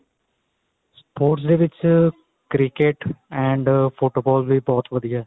sports ਦੇ ਵਿੱਚ cricket and football ਵੀ ਬਹੁਤ ਵਧੀਆ